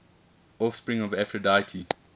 offspring of aphrodite